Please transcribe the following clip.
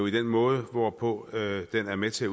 i den måde hvorpå den er med til